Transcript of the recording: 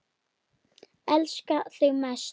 Elska þig mest.